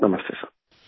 نمستے سر